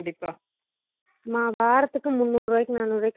படிப்பு என்ன பண்ற plus two join பண்ணிருக்க